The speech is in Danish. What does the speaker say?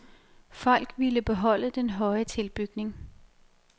Folk ville beholde den høje tilbygning.